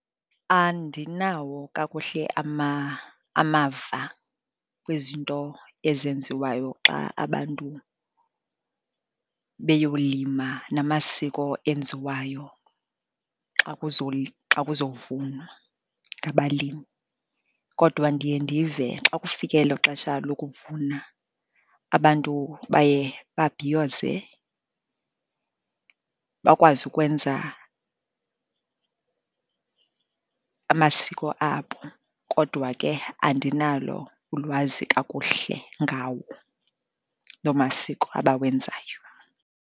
Andinawo kakuhle amava kwizinto ezenziwayo xa abantu beyowulima namasiko enziwayo xa kuzowuvunwa ngabalimi. Kodwa ndiye ndive xa kufike elo xesha lokuvuna abantu baye babhiyoze, bakwazi ukwenza amasiko abo, kodwa ke andinalo ulwazi kakuhle ngawo loo masiko abawenzayo.